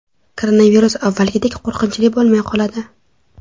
Koronavirus avvalgidek qo‘rqinchli bo‘lmay qoladi.